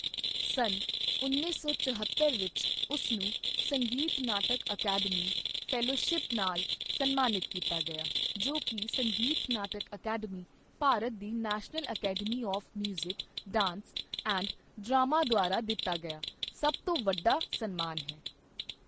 ਸੰਨ ਉੱਨੀ ਸੌ ਚੋਹਤੱਰ ਵਿੱਚ, ਉਸ ਨੂੰ ਸੰਗੀਤ ਨਾਟਕ ਅਕੈਡਮੀ ਫੈਲੋਸ਼ਿਪ ਨਾਲ ਸਨਮਾਨਿਤ ਕੀਤਾ ਗਿਆ, ਜੋ ਕਿ ਸੰਗੀਤ ਨਾਟਕ ਅਕੈਡਮੀ, ਭਾਰਤ ਦੀ national academy of music, dance and drama ਦੁਆਰਾ ਦਿੱਤਾ ਗਿਆ ਸਭ ਤੋਂ ਵੱਡਾ ਸਨਮਾਨ ਹੈ।